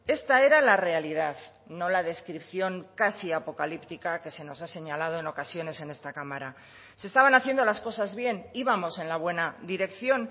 esta era la realidad no la descripción casi apocalíptica que se nos ha señalado en ocasiones en esta cámara se estaban haciendo las cosas bien íbamos en la buena dirección